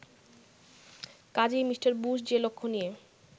কাজেই Mr Bush যে লক্ষ্য নিয়ে